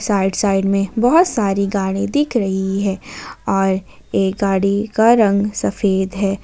Right side में बहोत सारी गाड़ी दिख रही है और एक गाड़ी का रंग सफेद है।